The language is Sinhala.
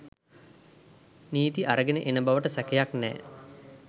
නීති අරගෙන එන බවට සැකයක් නෑ